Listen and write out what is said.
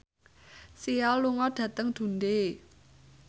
Sia lunga dhateng Dundee